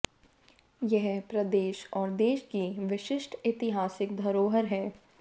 यह प्रदेश और देश की विशिष्ट ऐतिहासिक धरोहर है